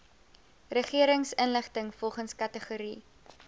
regeringsinligting volgens kategorie